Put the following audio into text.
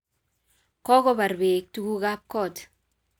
Kokobar beek tukuk kab kot